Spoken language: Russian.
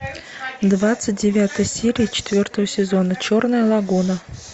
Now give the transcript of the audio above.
двадцать девятая серия четвертого сезона черная лагуна